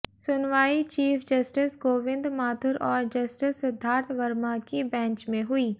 सुनवाई chief justice Govind Mathur और justice Siddharth Verma की बेंच में हुई